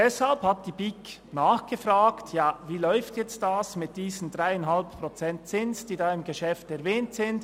Deshalb hat die BiK nachgefragt: «Ja, wie läuft das jetzt mit diesen 3,5 Prozent Zins, die in diesem Geschäft erwähnt sind?